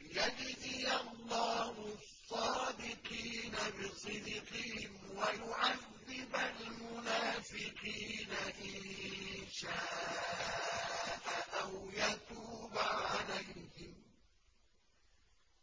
لِّيَجْزِيَ اللَّهُ الصَّادِقِينَ بِصِدْقِهِمْ وَيُعَذِّبَ الْمُنَافِقِينَ إِن شَاءَ أَوْ يَتُوبَ عَلَيْهِمْ ۚ